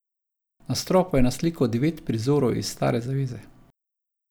Na stropu je naslikal devet prizorov iz Stare zaveze.